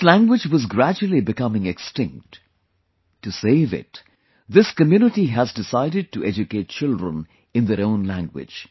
This language was gradually becoming extinct; to save it, this community has decided to educate children in their own language